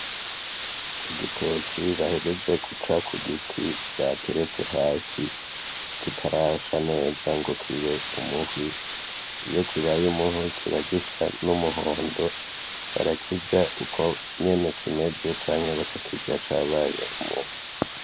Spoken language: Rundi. Igitoki bahejeje guca ku giti bateretse hasi kitarasha neza ngo kibe umuhwi iyo kibbaye umuhwi kiba gisa n'umuhondo barakirya uko nyene kimeze canke bakakirya cabaye umuhwi.